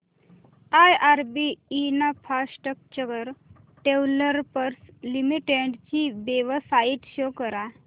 IRB infrastructure developers limited ची website show करा